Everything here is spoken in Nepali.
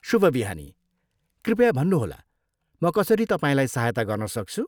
शुभ बिहानी, कृपया भन्नुहोला, म कसरी तपाईँलाई सहायता गर्न सक्छु?